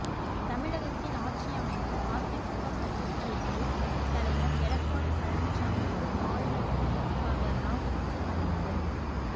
தமிழகத்தில் ஆட்சி அமைக்க அதிமுக சட்டசபை குழு தலைவர் எடப்பாடி பழனிச்சாமிக்கு ஆளுநர் வித்யாசாகர் ராவ் இன்று அழைப்பு